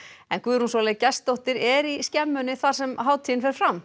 en Guðrún Sóley Gestsdóttir er í skemmunni þar sem hátíðin fer fram